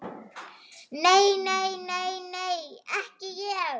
Nei, nei, nei, nei, ekki ég.